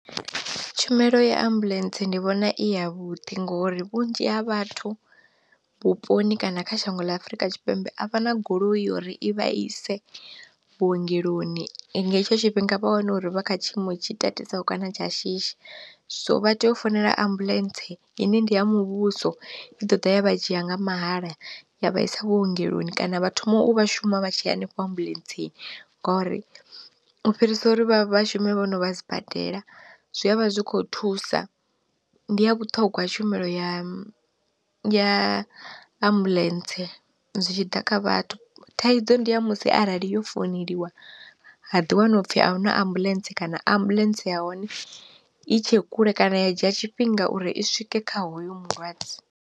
Tshumelo ya ambuḽentse ndi vhona i ya vhuḓi ngori vhunzhi ha vhathu vhuponi kana kha shango ḽa Afrika Tshipembe a vha na goloi uri i vha ise vhuongeloni i nga hetsho tshifhinga vha wane uri vha kha tshiimo tshi tatisaho kana tsha shishi, so vha tea u founela ambuḽentse i ine ndi ya muvhuso i ḓo ḓa ya vha dzhia nga mahala ya vhaisa vhuongeloni kana vha thoma u vha shuma vha tshi ya henefho ambuḽentsi, ngori u fhirisa uri vha vhashume vhono vha sibadela zwivha zwikho thusa. Ndi ya vhuṱhongwa tshumelo ya ya ambuḽentse zwitshiḓa kha vhathu, thaidzo ndi ya musi arali yo founeliwa ha ḓiwani upfi ahuna ambuḽentse kana ambuḽentse ya hone i tshe kule kana ya dzhia tshifhinga uri i swike kha hoyu mulwadze.